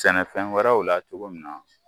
Sɛnɛfɛn wɛrɛw la cogo min na